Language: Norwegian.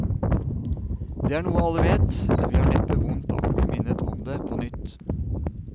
Det er noe alle vet, men vi har neppe vondt av å bli minnet om det på nytt.